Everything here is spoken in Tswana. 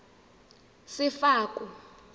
sefako